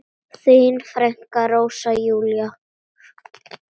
Þín frænka, Rósa Júlía.